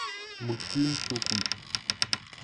мультфильм щелкунчик